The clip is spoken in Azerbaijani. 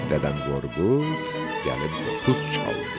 Dədəm Qorqud gəlib qopuz çaldı.